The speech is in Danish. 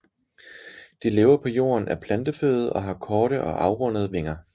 De lever på jorden af planteføde og har korte og afrundede vinger